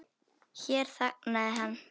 Hér þagnaði hann.